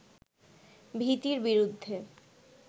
ভীতির বিরুদ্ধে